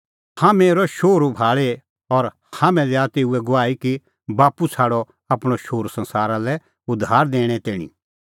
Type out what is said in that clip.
हाम्हैं हेरअ शोहरू भाल़ी और हाम्हैं दैआ तेऊए गवाही कि बाप्पू छ़ाडअ आपणअ शोहरू संसारा लै उद्धार दैणें तैणीं